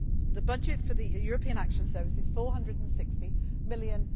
time. The budget for the European External Action Service is EUR 460